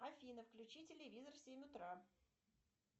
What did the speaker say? афина включи телевизор в семь утра